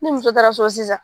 Ni muso taara so sisan